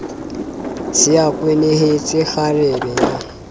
se a kwenehetse kgarebe ya